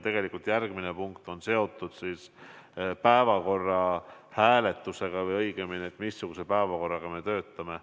Ja järgmine punkt on seotud päevakorra hääletusega, sellega, missuguse päevakorraga me töötame.